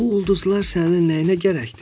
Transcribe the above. Bu ulduzlar sənin nəyinə gərəkdir?